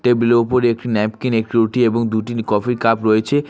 Table এর উপর একটি ন্যাপকিন একটি রুটি এবং দুটি কফি র কাপ রয়েছে।